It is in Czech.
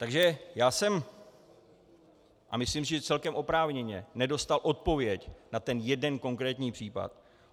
Takže já jsem, a myslím si, že celkem oprávněně, nedostal odpověď na ten jeden konkrétní případ.